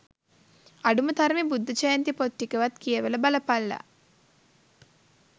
අඩුමතරමෙ බුද්ධජයන්ති පොත් ටිකවත් කියවලා බලපල්ලා